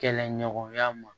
Kɛlɛɲɔgɔnya ma